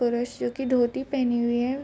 पुरुष जो की धोती पहनी हुई है।